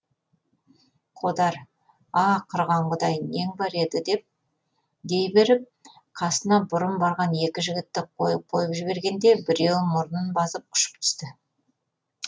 қодар а құрыған құдай нең бар еді дей беріп қасына бұрын барған екі жігітті қойып қойып жібергенде біреуі мұрнын басып ұшып түсті